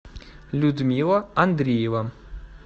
людмила андреева